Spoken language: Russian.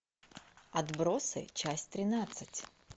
отбросы часть тринадцать